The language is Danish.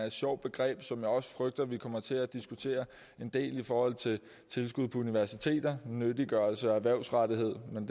et sjovt begreb som jeg også frygter vi kommer til at diskutere en del i forhold til tilskud til universiteter nyttiggørelse og erhvervsrettethed men